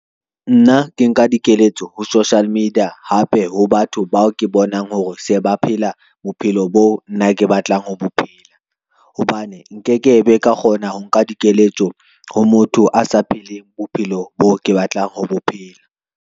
Nna ke nka dikeletso ho Social Media, hape ho batho bao ke bonang hore se ba phela bophelo boo nna ke batlang ho bophela. Hobane nke ke be ka kgona ho nka dikeletso ho motho a sa pheleng bophelo boo ke batlang ho bophela.